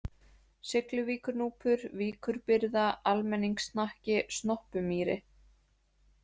Sigluvíkurnúpur, Víkurbyrða, Almenningshnakki, Snoppumýri